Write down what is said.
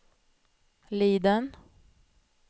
Liden